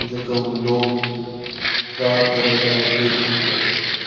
जके हु लोग रात को नज़ारो देख सक।